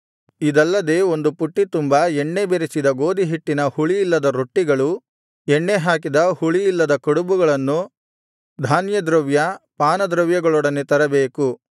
ಇದಲ್ಲದೆ ಒಂದು ಪುಟ್ಟಿ ತುಂಬಾ ಎಣ್ಣೆ ಬೆರಸಿದ ಗೋದಿಹಿಟ್ಟಿನ ಹುಳಿಯಿಲ್ಲದ ರೊಟ್ಟಿಗಳು ಎಣ್ಣೆ ಹಾಕಿದ ಹುಳಿಯಿಲ್ಲದ ಕಡಬುಗಳನ್ನು ಧಾನ್ಯದ್ರವ್ಯ ಪಾನದ್ರವ್ಯಗಳೊಡನೆ ತರಬೇಕು